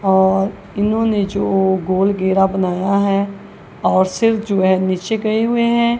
और इन्होंने जो गोल घेरा अपना बनाया हैं और सिर जो है नीचे गए हुएं हैं।